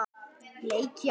Úrslit allra leikja